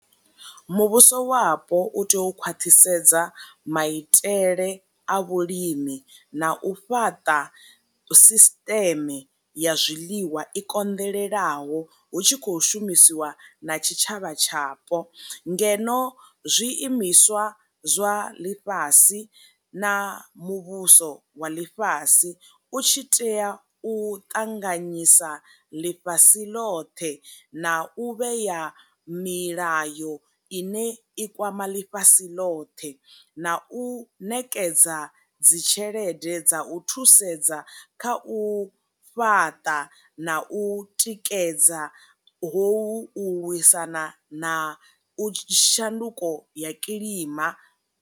Muvhuso wapo u tea u khwathisedza maitele a vhu limi na u fhaṱa sisiṱeme ya zwiḽiwa i konḓelelaho hu tshi kho shumisiwa na tshi tshavha tshapo, ngeno zwiimiswa zwa ḽifhasi na muvhuso wa ḽifhasi u tshi tea u ṱanganyisa ḽifhasi ḽothe na u vhea milayo ine i kwama ḽifhasi ḽothe na u nekedza dzi tshelede dza u thusedza kha u fhaṱa na u tikedza hoyu u lwisana na u shanduko ya kilima.